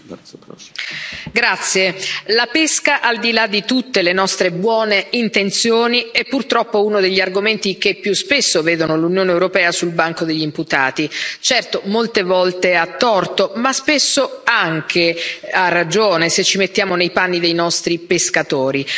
Signor Presidente, onorevoli colleghi, la pesca, al di là di tutte le nostre buone intenzioni, è purtroppo uno degli argomenti che più spesso vedono l'Unione europea sul banco degli imputati. Certo, molte volte a torto, ma spesso anche a ragione, se ci mettiamo nei panni dei nostri pescatori.